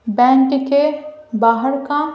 bank के बाहर का--